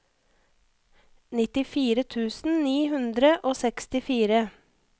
nittifire tusen ni hundre og sekstifire